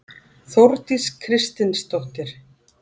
Þórdís Kristinsdóttir.